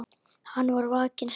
Hann var vakinn snemma.